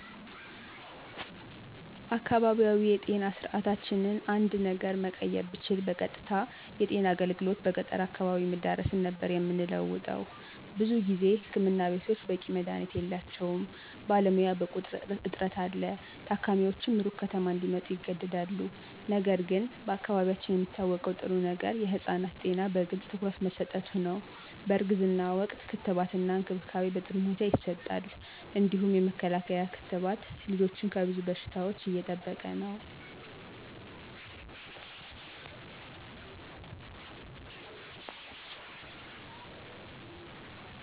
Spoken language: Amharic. አካባቢያዊ የጤና ስርዓታችንን አንድ ነገር መቀየር ብችል በቀጥታ የጤና አገልግሎት በገጠር አካባቢ መዳረስን ነበር የምንለውጠው። ብዙ ጊዜ ህክምና ቤቶች በቂ መድሀኒት የላቸውም፣ ባለሙያ በቁጥር እጥረት አለ፣ ታካሚዎችም ሩቅ ከተማ እንዲመጡ ይገደዳሉ። ነገር ግን በአካባቢያችን የሚታወቀው ጥሩ ነገር የህፃናት ጤና በግልጽ ትኩረት መሠጠቱ ነው፣ በእርግዝና ወቅት ክትባትና እንክብካቤ በጥሩ ሁኔታ ይሰጣል። እንዲሁም የመከላከያ ክትባት ልጆችን ከብዙ በሽታዎች እየጠበቀ ነው።